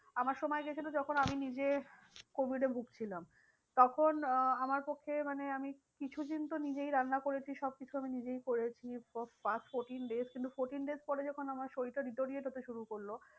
আমার সময় গিয়েছিলো যখন আমি নিজে covid এ ভুগছিলাম তখন আহ আমার পক্ষে মানে আমি কিছু দিন তো নিজেই রান্না করেছি সব কিছু আমি নিজেই করেছি fourteen days কিন্তু fourteen days পরে যখন আমার শরীরটা deteriorate শুরু করলো।